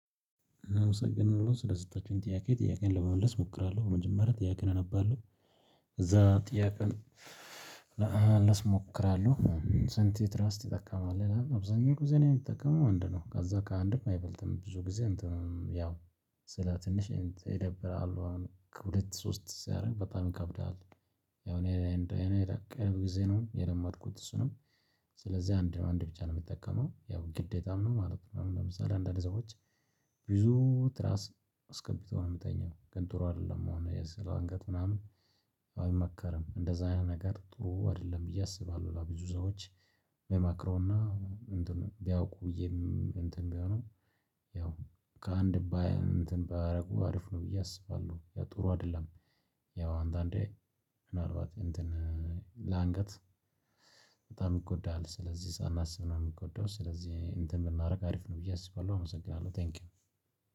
አመሰግናለሁ ስለሰጠችሁኝ ጥያቄ ጥያቄን ለመመለስ እሞክራለሁ በመጀመሪያ ጥያቄ እነባለሁ እዛ ጥያቄን ለመመለስ እሞክራለሁ። ስንት ትራስ ይጠቀማል አብዛኛው ጊዜ እኔ የምትጠቀመው አንድ ነው። ከዛ ከአንድም አይበልጥም ብዙ ጊዜ አንተም ያው ስለ ትንሽ ይደብራሉ አሁን ከሁለት ሶስት ሲያደርግ በጣም ይከብድሃል። ያው እኔ እንደ እኔ ቅርብ ጊዜ ነው የለመድኩት እሱንም ስለዚህ አንድ አንድ ብቻ ነው የምትጠቀመው ያው ግዴታ ምንም ማለት ነው። ለምሳሌ አንዳንድ ሰዎች ብዙ ትራስ አስገብቶ ነው የምትተኛው። ግን ጥሩ አይደለም አሁን የስር አንገት ምናምን አይመከርም እንደዛ ነገር ጥሩ አይደለም ብዬ አስባለሁ። ለብዙ ሰዎች ምክረውና ቢያውቁ ብዬ እንትን ቢሆኑ ያው ከአንድ ባይ እንትን ባያደርጉ አርፍ ነው ብዬ አስባለሁ ያ ጥሩ አይደለም። ያው አንዳንዴ ምናልባት እንትን ለአንገት በጣም ይጎዳል ስለዚህ ሳናስብ ነው የሚጎዳው። ስለዚህ እንትን ብናደርግ አሪፍ ነው ብዬ አስባለሁ። አመሰግናለሁ ቴንኪው።